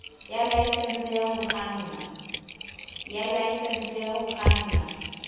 ya laesense ya ho kganna